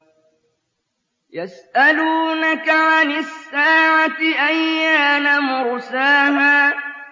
يَسْأَلُونَكَ عَنِ السَّاعَةِ أَيَّانَ مُرْسَاهَا